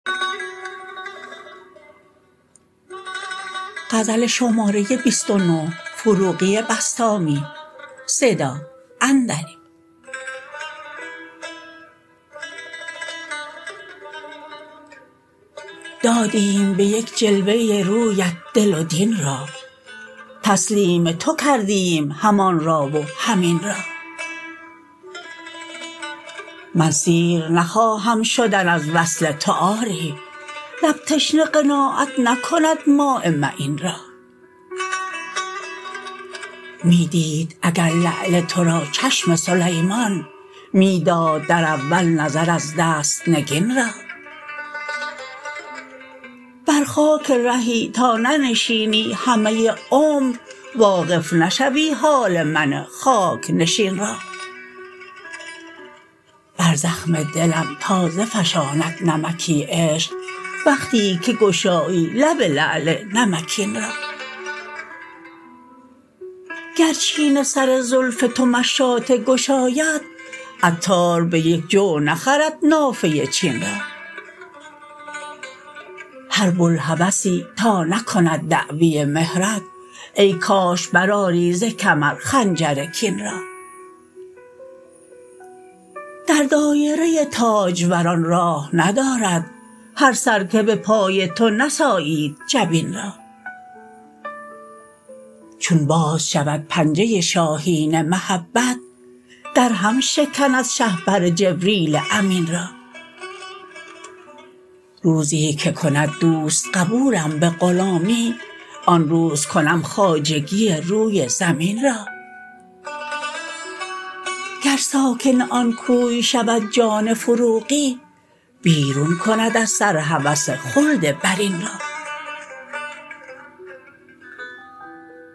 دادیم به یک جلوه رویت دل و دین را تسلیم تو کردیم هم آن را و هم این را من سیر نخواهم شدن از وصل تو آری لب تشنه قناعت نکند ماء معین را می دید اگر لعل تو را چشم سلیمان می داد در اول نظر از دست نگین را بر خاک رهی تا ننشینی همه عمر واقف نشوی حال من خاک نشین را بر زخم دلم تازه فشاند نمکی عشق وقتی که گشایی لب لعل نمکین را گر چین سر زلف تو مشاطه گشاید عطار به یک جو نخرد نافه چین را هر بوالهوسی تا نکند دعوی مهرت ای کاش بر آری زکمر خنجر کین را در دایره تاج وران راه ندارد هر سر که به پای تو نسایید جبین را چون باز شود پنجه شاهین محبت درهم شکند شهپر جبریل امین را روزی که کند دوست قبولم به غلامی آن روز کنم خواجگی روی زمین را گر ساکن آن کوی شود جان فروغی بیرون کند از سر هوس خلد برین را